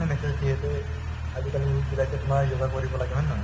message দিয়ে যে আজিকালি youth বিলাকে তোমাৰ য়োগা কৰিব লাগে হয় নে নহয়